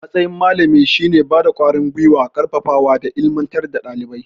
Matsayin malami shine bada ƙwarin gwiwa, ƙarfafawa da ilimantar da dalibai